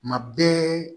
Kuma bɛɛ